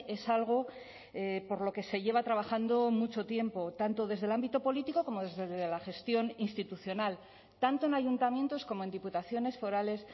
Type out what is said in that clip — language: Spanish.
es algo por lo que se lleva trabajando mucho tiempo tanto desde el ámbito político como desde la gestión institucional tanto en ayuntamientos como en diputaciones forales